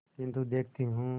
किन्तु देखती हूँ